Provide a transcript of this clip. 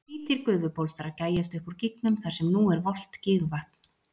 hvítir gufubólstrar gægjast upp úr gígnum þar sem nú er volgt gígvatn